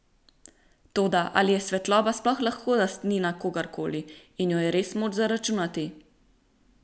Toda, ali je svetloba sploh lahko lastnina kogarkoli in jo je res moč zaračunati?